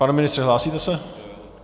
Pane ministře, hlásíte se?